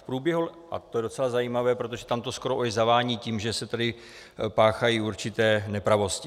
V průběhu - a to je docela zajímavé, protože tam to skoro už zavání tím, že se tady páchají určité nepravosti.